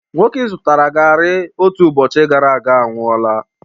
Nwoke i zụtara garri otu ụbọchị gara aga anwụọla